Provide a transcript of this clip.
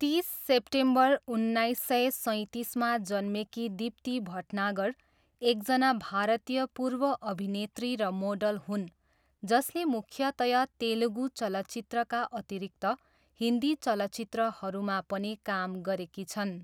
तिस सेप्टेम्बर उन्नाइस सय सैँतिसमा जन्मेकी दीप्ती भटनागर एकजना भारतीय पूर्व अभिनेत्री र मोडल हुन् जसले मुख्यतया तेलुगु चलचित्रका अतिरिक्त हिन्दी चलचित्रहरूमा पनि काम गरेकी छन्।